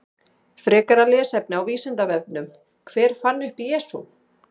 Frekara lesefni á Vísindavefnum: Hver fann upp Jesú?